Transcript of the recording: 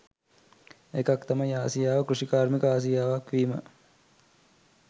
එකක් තමයි ආසියාව කෘෂිකාර්මික ආසියාවක් වීම